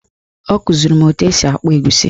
Ọ kụziri m etu esi akpụ egusi